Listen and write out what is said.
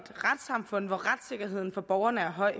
retssamfund hvor retssikkerheden for borgerne er høj